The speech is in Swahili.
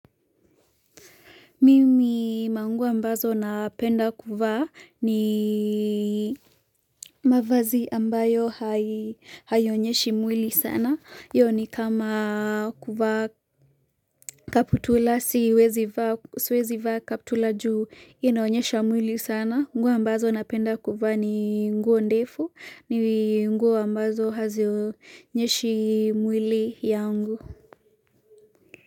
Mimi manguo ambazo napenda kuvaa ni mavazi ambayo haionyeshi mwili sana, hiyo ni kama kuvaa kaputula siwezi vaa kaputula juu inaonyesha mwili sana, nguo ambazo napenda kuvaa ni nguo ndefu, ni nguo ambazo hazionyeshi mwili yangu.